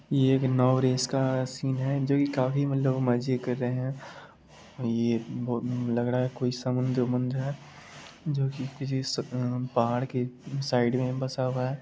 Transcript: ये एक नाव रेस का सीन है जो की काफी मतलब लोग मजे कर रहे हैं ये लग रहा है कोई समुंद्र है जो की किसी पहाड़ के साइड में बसा हुआ है।